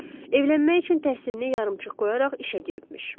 Evlənmək üçün təhsilini yarımçıq qoyaraq işə giribmiş.